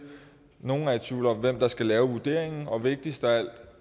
nogle er i tvivl om hvem der skal lave vurderingen og vigtigst af alt er